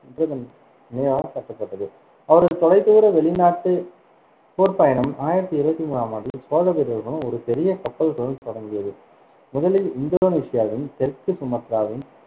வென்றதன் நினைவாக கட்டப்பட்டது அவரது தொலைதூர வெளிநாட்டுப் போர்ப் பயணம் ஆயிரத்தி இருவத்தி மூணாம் ஆண்டில் சோழ வீரர்களுடன் ஒரு பெரிய கப்பல்களுடன் தொடங்கியது, முதலில் இந்தோனேசியாவின் தெற்கு சுமத்ராவின்